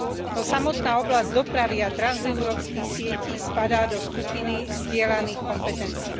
No samotná oblasť dopravy a transeurópskych sietí spadá do skupiny zdieľaných kompetencií.